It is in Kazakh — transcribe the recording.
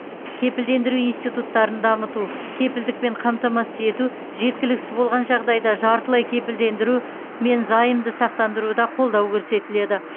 кепілдендіру институттарын дамыту кепілдікпен қамтамасыз ету жеткіліксіз болған жағдайда жартылай кепілдендіру мен займды сақтандыруда қолдау көрсетіледі